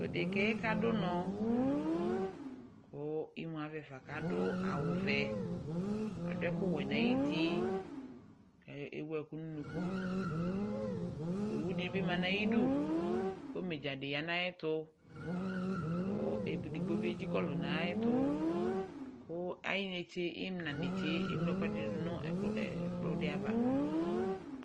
Odeka yɛ kadʋ bnɔ, kʋ imu avɛ fa k'adʋ awʋ vɛ, adʋ ɛkʋ wɛ n'ayuti kɛ ewu ɛkʋ nʋ unuku Owu dɩ bɩ ma n'ayidu kʋ omidzadɩ ya n'syɛtʋ kʋ edigbo nɩ ezikɔlʋ n'ayɛtʋ, kʋ ayinetse, ɩmla netse eŋlo ɛkʋɛdɩnɩ dʋ nʋ ɛkplɔdɩ ava